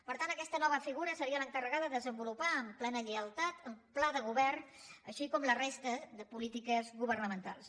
per tant aquesta nova figura seria l’encarregada de desenvolupar amb plena lleialtat el pla de govern com també la resta de polítiques governamentals